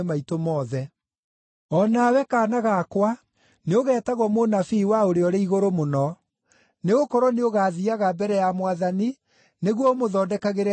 “O nawe, kaana gakwa, nĩũgetagwo mũnabii wa Ũrĩa-ũrĩ-Igũrũ-Mũno; nĩgũkorwo nĩũgaathiiaga mbere ya Mwathani nĩguo ũmũthondekagĩre njĩra ciake,